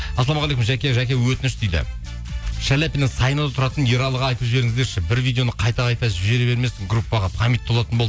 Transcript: ассалаумағалейкум жаке жаке өтініш дейді шаляпина саинада тұратын ералыға айтып жіберіңіздерші бір видеоны қайта қайта жібере бермесін группаға память толатын болды